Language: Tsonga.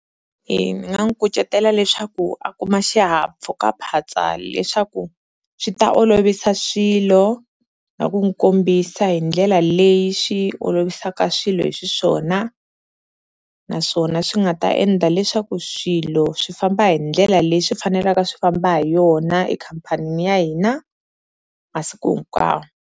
E ni nga n'wi kucetela leswaku a kuma xihahampfhukaphatsa leswaku swi ta olovisa swilo na ku n'wi kombisa hi ndlela leyi swi olovisaka swilo hi xiswona, naswona swi nga ta endla leswaku swilo swi famba hi ndlela leyi swi fanelaka swi famba hi yona ekhampanini ya hina masiku hinkwawo.